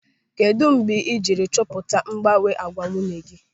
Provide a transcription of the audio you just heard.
Kedụ mgbe ịjiri chọpụta mgbanwe n'àgwà nwunye gị?